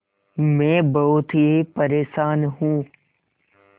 मैं बहुत ही परेशान हूँ